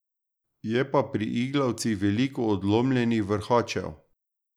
Je pa pri iglavcih veliko odlomljenih vrhačev.